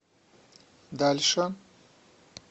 дальше